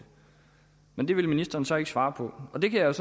men det vil ministeren så ikke svare på og det kan jeg